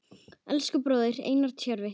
Elsku bróðir, Einar Tjörvi.